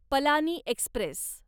Palani Express